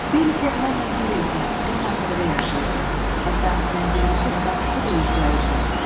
Belikov mənlə bir evdə, bir mərtəbədə yaşayırdı, hətta mənzilimizin qapısı da üzbəüzdür.